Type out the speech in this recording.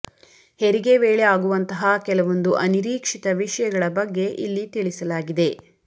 ಹೆರಿಗೆ ವೇಳೆ ಆಗುವಂತಹ ಕೆಲವೊಂದು ಅನಿರೀಕ್ಷಿತ ವಿಷಯಗಳ ಬಗ್ಗೆ ಇಲ್ಲಿ ತಿಳಿಸಲಾಗಿದೆ